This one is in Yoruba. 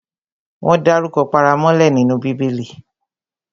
Wọ́n dárukọ paramọ́lẹ nínú Bíbẹlì